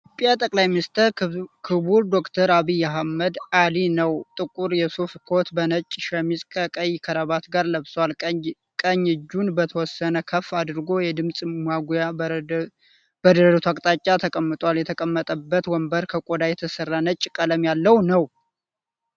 የኢትዮጵያ ጠ/ሚ ክቡር ዶ/ር አብይ አህመድ አሊ ነዉ። ጥቁር የሱፍ ኮት በነጭ ሸሚዝ ከቀይ ከረባት ጋር ለብሷል። ቀኝ እጁን በተወሰነ ከፍ አድርጓል። የድምፅ ማጉያዉ በደረቱ አቅጣጫ ተቀምጧል። የተቀመጠበት ወንበር ከቆዳ የተሰራ ነጭ ቀለም ያለዉ ነዉ።